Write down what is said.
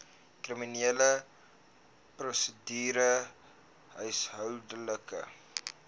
kriminele prosedure huishoudelike